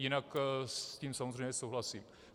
Jinak s tím samozřejmě souhlasím.